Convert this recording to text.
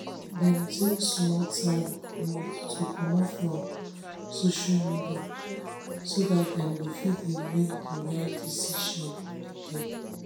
dem take small time to comot for social media so dat dem go fit dey make de rite decision again